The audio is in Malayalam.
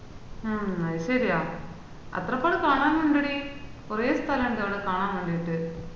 ആഹ് അത് ശെരിയാ അത്രോക്കെ കാണാന് ഇന്ഡെടി കൊറേ സ്തലം ഉണ്ട് അവടെ കാണാൻ വേണ്ടീട്ട്